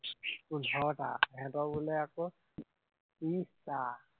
পোন্ধৰটা, সিহঁতৰ বোলে আকৌ ত্ৰিশ টা